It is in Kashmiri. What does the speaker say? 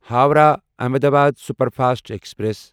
Howrah Ahmedabad superfast express